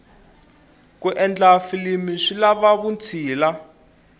ku endla filimu swi lava vutshila